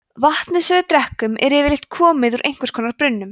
vatnið sem við drekkum er yfirleitt komið úr einhvers konar brunnum